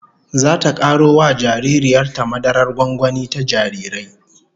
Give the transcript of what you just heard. Zata karo wa jaririyar ta madarar gwangwani ta jarirai